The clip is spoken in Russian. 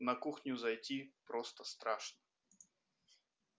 на кухню зайти просто страшно